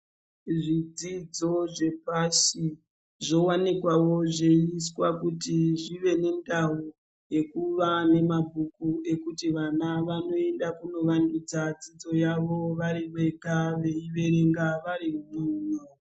Zvidzidzo zvepashi zvowanikwawo zveiswa kuti zvive nendau yekuva nemabhuku ekuti vana vanoenda kunovandudza dzidzo yavo vari vega veiverenga varimuno.